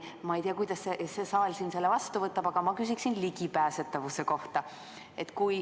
Ma ei tea, kuidas see saal selle vastu võtab, aga ma küsin ligipääsetavuse kohta.